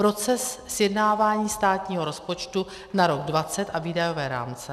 Proces sjednávání státního rozpočtu na rok 2020 a výdajové rámce.